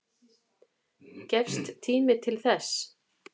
Gefst tími til þess?